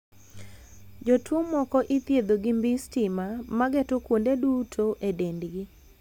Jotuo moko ithiedho gi mbii stima ma geto kuonde duto e dendgi.